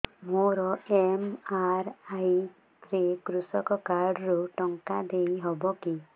ମୋର ଏମ.ଆର.ଆଇ ରେ କୃଷକ କାର୍ଡ ରୁ ଟଙ୍କା ଦେଇ ହବ କି